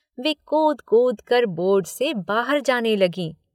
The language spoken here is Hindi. वे कूद कूद कर बोर्ड से बाहर जाने लगीं